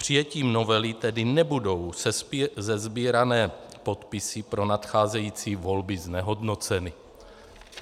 Přijetím novely tedy nebudou sesbírané podpisy pro nadcházející volby znehodnoceny.